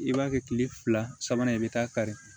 I b'a kɛ kile fila sabanan ye i bi taa kari